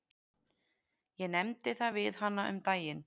Ég nefndi það við hana um daginn.